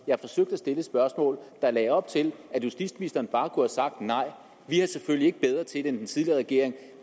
jeg forsøgte at stille et spørgsmål der lagde op til at justitsministeren bare kunne have sagt nej vi er selvfølgelig ikke bedre til det end den tidligere regering